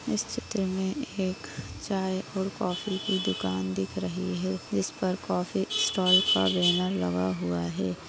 इस चित्र एक चाय और काफ़ी की दुकान दिख रही है जिस पर कॉफ़ी स्टाल का बैनर लगा हुआ है।